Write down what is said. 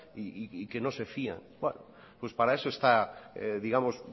y que no se fían bueno pues para eso está